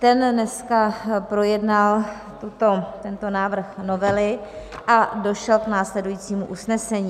Ten dneska projednal tento návrh novely a došel k následujícímu usnesení.